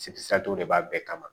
de b'a bɛɛ kama